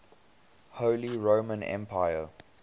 holy roman empire